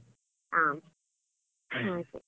ಹ, ಹಾಗೆ.